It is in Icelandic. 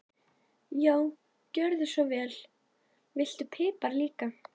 Já, gjörðu svo vel. Viltu pipar líka?